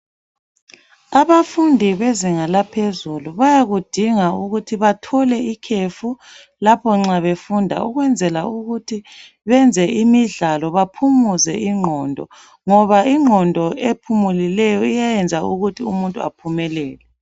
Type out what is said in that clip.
abafundi bezinga laphezulu baykudinga ukuthi bathole ikhefu lapho nxa befunda ukwenzela ukuthi benze imidlalo baphumuze inqondo ngoba inqondo ephumulileyo iyayenza ukuthi umuntu ephumelele